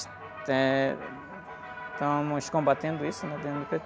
Eh.. Estamos combatendo isso dentro do